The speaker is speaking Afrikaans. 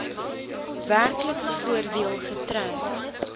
werklike voordeel getrek